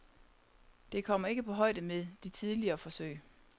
Det kommer ikke på højde med de tidligere forsøg.